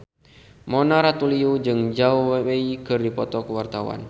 Mona Ratuliu jeung Zhao Wei keur dipoto ku wartawan